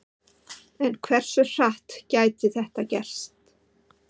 En hversu hratt gæti þetta gerst?